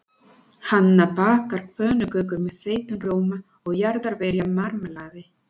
Hanna bakar pönnukökur með þeyttum rjóma og jarðarberjamarmelaði.